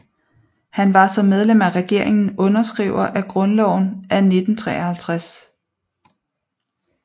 Han var som medlem af regeringen underskriver af Grundloven af 1953